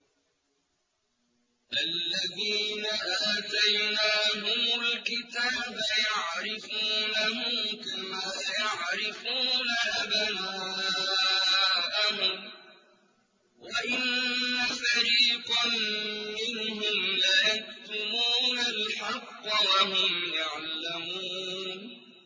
الَّذِينَ آتَيْنَاهُمُ الْكِتَابَ يَعْرِفُونَهُ كَمَا يَعْرِفُونَ أَبْنَاءَهُمْ ۖ وَإِنَّ فَرِيقًا مِّنْهُمْ لَيَكْتُمُونَ الْحَقَّ وَهُمْ يَعْلَمُونَ